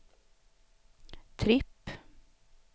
tripp